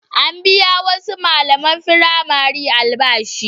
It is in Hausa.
An biya wasu malaman firamare albashi.